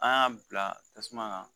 An y'a bila tasuma kan